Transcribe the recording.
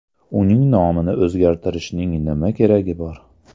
Uning nomini o‘zgartirishning nima keragi bor?